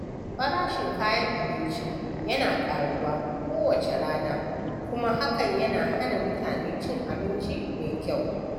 Farashin kayan abinci yana ƙaruwa kowace rana, kuma hakan yana hana mutane cin abinci mai kyau.